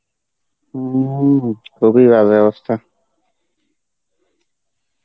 হম খুবই বাজে অবস্থা.